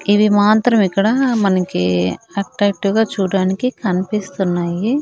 ఇవి మాత్రం ఇక్కడ మనకి అట్టాక్టివ్ గా చూడ్డానికి కన్పిస్తున్నాయి.